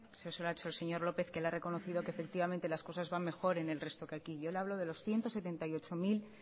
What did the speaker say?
eso se lo ha hecho el señor lópez que le ha reconocido que efectivamente las cosas van mejor en el resto que aquí yo le hablo de los